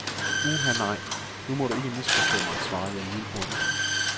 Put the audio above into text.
Uha nej, nu må du ikke misforstå mig, svarede jeg lynhurtigt.